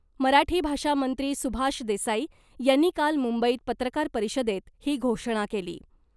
मराठी भाषा मंत्री सुभाष देसाई यांनी काल मुंबईत पत्रकार परिषदेत ही घोषणा केली .